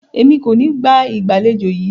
Emi ko ni gba igbaalejò yi